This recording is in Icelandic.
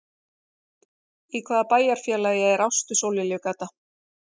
Í hvaða bæjarfélagi er Ástu-Sólliljugata?